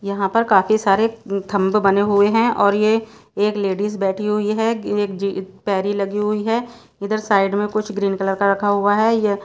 यहाँ पर काफी सारे थंम्ब बने हुए है और ये एक लेडीज बैठी हुई है कि एक जी पेरी लगी हुई हैं इधर साइड में कुछ ग्रीन कलर का रखा हुआ है ये --